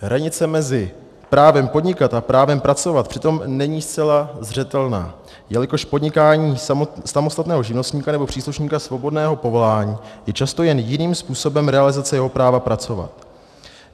Hranice mezi právem podnikat a právem pracovat přitom není zcela zřetelná, jelikož podnikání samostatného živnostníka nebo příslušníka svobodného povolání je často jen jiným způsobem realizace jeho práva pracovat.